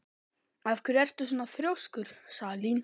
Af hverju ertu svona þrjóskur, Salín?